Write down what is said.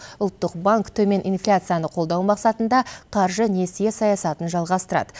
ұлттық банк төмен инфляцияны қолдау мақсатында қаржы несие саясатын жалғасырады